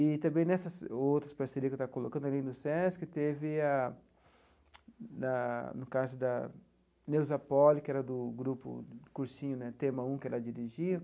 E também nessas outras parcerias que eu estava colocando ali no SESC, teve a, na no caso da Neuza Poli, que era do grupo Cursinho né Tema um, que ela dirigia,